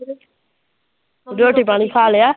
ਰੋਟੀ ਪਾਣੀ ਖਾ ਲਿਆ